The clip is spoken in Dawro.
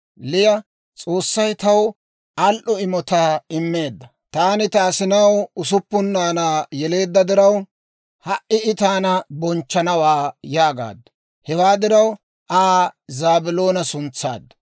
Liya, «S'oossay taw al"o imotaa immeedda; taani ta asinaw usuppun naanaa yeleedda diraw, ha"i I taana bonchchanawaa» yaagaaddu. Hewaa diraw Aa Zaabiloona suntsaaddu.